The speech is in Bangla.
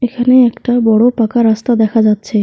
এখানে একটা বড়ো পাকা রাস্তা দেখা যাচ্ছে।